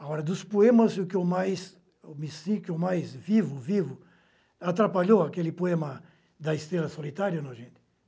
Agora, dos poemas o que eu mais me sinto mais vivo, vivo, atrapalhou aquele poema da Estrela Solitária, não, gente?